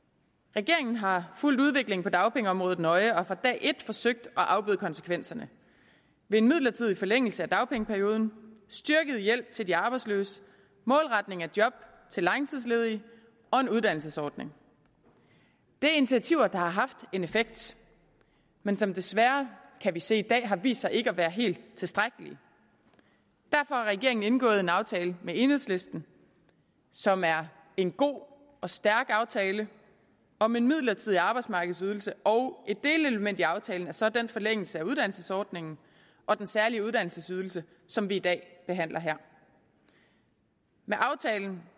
regeringen har fulgt udviklingen på dagpengeområdet nøje og fra dag et forsøgt at afbøde konsekvenserne ved en midlertidig forlængelse af dagpengeperioden styrket hjælp til de arbejdsløse målretning af job til langtidsledige og en uddannelsesordning det er initiativer der har haft en effekt men som desværre kan vi se i dag har vist sig ikke at være helt tilstrækkelige derfor har regeringen indgået en aftale med enhedslisten som er en god og stærk aftale om en midlertidig arbejdsmarkedsydelse og et delelement i aftalen er så den forlængelse af uddannelsesordningen og den særlige uddannelsesydelse som vi i dag behandler her med aftalen